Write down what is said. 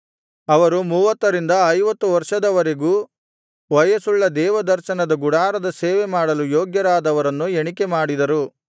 ಅವರು ಮೂವತ್ತರಿಂದ ಐವತ್ತು ವರ್ಷದವರೆಗೂ ವಯಸ್ಸುಳ್ಳ ದೇವದರ್ಶನದ ಗುಡಾರದ ಸೇವೆ ಮಾಡಲು ಯೋಗ್ಯರಾದವರನ್ನು ಎಣಿಕೆಮಾಡಿದರು